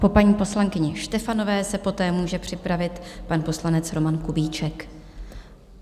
Po paní poslankyni Štefanové se poté může připravit pan poslanec Roman Kubíček.